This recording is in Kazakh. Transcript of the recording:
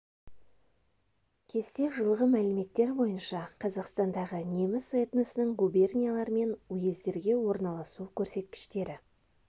кесте жылғы мәліметтер бойынша қазақстандағы неміс этносының губерниялар мен уездерге орналасу көрсеткіштері